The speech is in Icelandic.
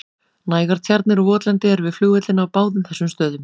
Nægar tjarnir og votlendi eru við flugvellina á báðum þessum stöðum.